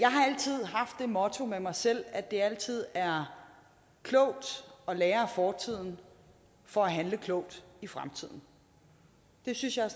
den motto med mig selv at det altid er klogt at lære af fortiden for at handle klogt i fremtiden det synes jeg er